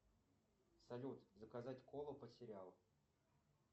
салют заказать колу под сериал